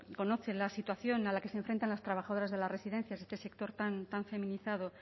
conoce la situación a la que se enfrentan las trabajadoras de las residencias ese sector tan tan feminizado